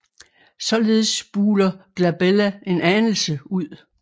Således buler Glabella en anelse ud